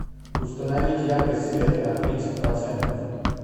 установить яркость света на тридцать процентов